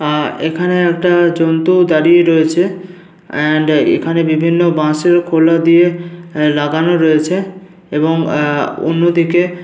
আহ এখানে একটা জন্তু দাঁড়িয়ে রয়েছে এন্ড বিভিন্ন বাঁশের খোলা দিয়ে লাগানো রয়েছে এবং আহ অন্যদিকে --